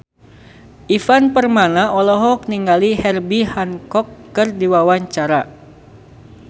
Ivan Permana olohok ningali Herbie Hancock keur diwawancara